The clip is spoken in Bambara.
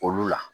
Olu la